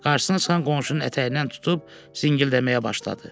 Qarşısına çıxan qonşunun ətəyindən tutub zingildəməyə başladı.